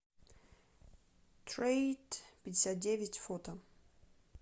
трейдпятьдесятдевять фото